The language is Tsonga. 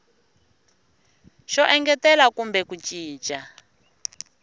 xo engetela kumbe ku cinca